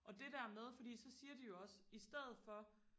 og det der med fordi så siger de jo også i stedet for